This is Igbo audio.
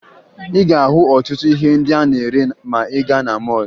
Ị ga-ahụ ọtụtụ ihe ndị a na-ere ma ị gaa na mọọlụ